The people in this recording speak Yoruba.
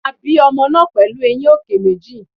A bí ọmọ náà pẹ̀lú eyín òkè méjì.